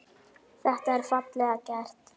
Þetta er fallega gert.